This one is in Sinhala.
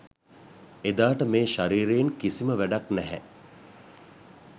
එදාට මේ ශරීරයෙන් කිසිම වැඩක් නැහැ.